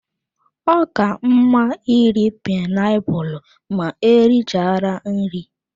Ọ ka mma iri painiapulu ma e richara nri.